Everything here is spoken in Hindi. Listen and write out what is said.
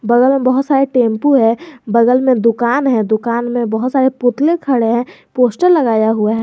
बगल में बहुत सारे टेंपो है बगल में दुकान है दुकान में बहुत सारे पुतले खड़े हैं पोस्टर लगाया हुआ है।